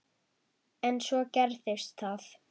En svo gerist það.